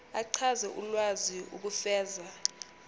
achaze ulwazi ukufeza